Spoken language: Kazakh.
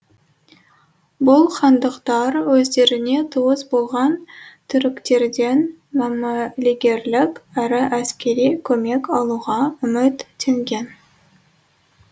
бұл хандықтар өздеріне туыс болған түріктерден мәмілегерлік әрі әскери көмек алуға үметтенген